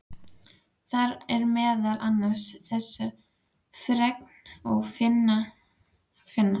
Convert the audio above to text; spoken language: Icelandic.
Þar er meðal annars þessa fregn að finna